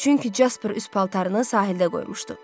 Çünki Jasper üz paltarını sahildə qoymuşdu.